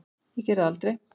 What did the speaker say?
Ég geri það aldrei.